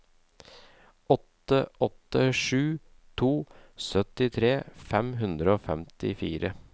åtte åtte sju to syttitre fem hundre og femtifire